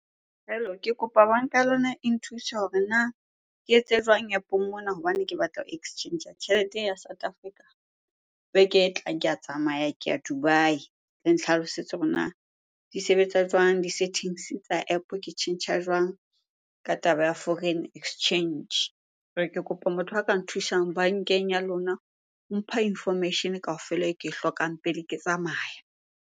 Hello? Ke kopa banka lona e nthuse hore na ke etse jwang App-ong mona hobane ke batla ho exchange tjhelete ee ya South Africa? Beke e tlang ke a tsamaya, ke ya Dubai. Le ntlhalosetse hore na di sebetsa jwang di-settings tsa App, ke tjhentjha jwang ka taba ya foreign exchange? Jwale ke kopa motho a ka nthusang bankeng ya lona ho mpha information kaofela e ke e hlokang pele ke tsamaya.